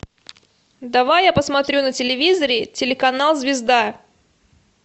давай я посмотрю на телевизоре телеканал звезда